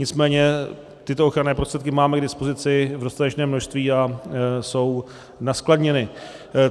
Nicméně tyto ochranné prostředky máme k dispozici v dostatečném množství a jsou naskladněny.